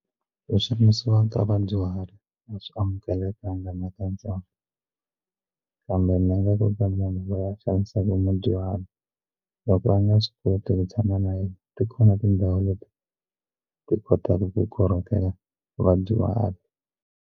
Leswi vadyuhari a swi amukelekanga na katsongo kambe ni nga kota ku vanhu va xanisaka vadyuhari loko va nga swi koti ku tshama na yena ti kona tindhawu leti ti kotaka ku korhokela vadyuhari.